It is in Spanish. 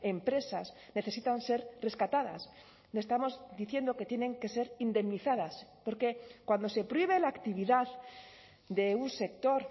empresas necesitan ser rescatadas estamos diciendo que tienen que ser indemnizadas porque cuando se prohíbe la actividad de un sector